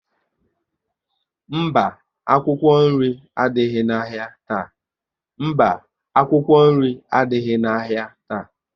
Mba, akwụkwọ nri adịghị na ahịa taa